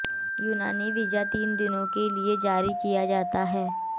यूनानी वीजा तीन दिनों के लिए जारी किया जाता है